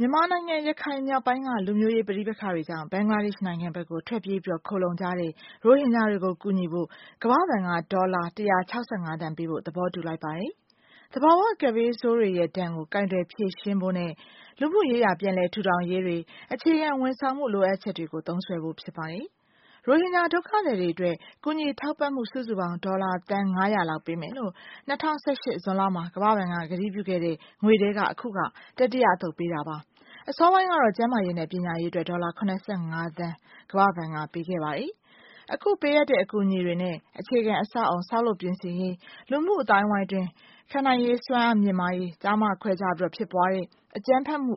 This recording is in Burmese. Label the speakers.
Speaker 1: မြန်မာနိုင်ငံ ရခိုင် မြောက်ပိုင်းက လူမျိုးရေး ဘာသာရေးဆန်တဲ့ ပဋိပက္ခတွေနောက်ပိုင်း အာဏာပိုင်တွေရဲ့ နယ်မြေရှင်းလင်းမှုတွေကြောင့်ဘင်္ဂလားဒေ့ချ် နိုင်ငံဘက်ကို ထွက်ပြေးပြီးတော့ ခိုလှုံကြတဲ့ ရိုဟင်ဂျာတွေကို ကူညီဖို့ ကမ္ဘာ့ဘဏ်က ဒေါ်လာ ၁၆၅ သန်းပေးဖို့ သဘောတူလိုက်ပါတယ်။ သဘာဝကပ်ဘေးဆိုးတွေရဲ့ ဒဏ်တွေကို ကိုင်တွယ် ဖြေရှင်းဖို့နဲ့ လူမှုရေးရာ ပြန်လည်ထူထောင်ရေးတွေ အခြေခံ ဝန်ဆောင်မှု လိုအပ်ချက်တွေကို သုံးစွဲဖို့ ဖြစ်ပါတယ်။ ရိုဟင်ဂျာ ဒုက္ခသည်တွေအတွက် ကူညီထောက်ပံ့ဖို့ ဒေါ်လာ စုစုပေါင်း သန်း ၅၀၀ လောက်ပေးမယ်လို့ ၂၀၁၈ ဇွန်လမှာ ကမ္ဘာ့ဘဏ် ကတိပြုခဲ့တဲ့ ငွေထဲက အခုက တတိယ အသုတ်ပေးတာပါ။ အစောပိုင်းကတော့ ကျန်းမာရေးနဲ့ ပညာရေးအတွက် ဒေါ်လာ ၇၅ သန်း ကမ္ဘာ့ဘဏ်က ပေးခဲ့ပါတယ်။ အခုပေးအပ်တဲ့ အကူအညီတွေနဲ့ အခြေခံအဆောက်အအုံ ဆောက်လုပ်ပြင်ဆင်ရေး လူမှုအသိုင်းအဝိုင်းအတွင်း ခံနိုင်ရည်စွမ်းအား မြင့်မားရေး၊ ကျား-မ ခွဲခြားပြီးတော့ ဖြစ်ပွားတဲ့ အကြမ်းဖက်မှု